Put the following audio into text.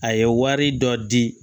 A ye wari dɔ di